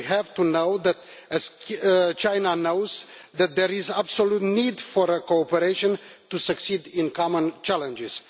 We know, as China knows, that there is an absolute need for our cooperation to succeed in common challenges.